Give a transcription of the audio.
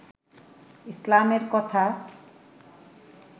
ইসলামের কথা